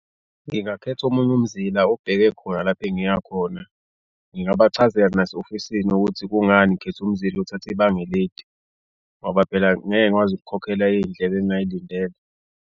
Ngingakhetha omunye umzila obheke khona lapho engiyakhona. Ngingabachazela nase-ofisini ukuthi kungani ngikhethe umzila othathe ibanga elide ngoba phela ngeke ngikwazi ukukhokhela iy'ndleko engingayilindele.